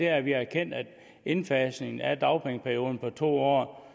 at vi har erkendt at indfasningen af en dagpengeperiode på to år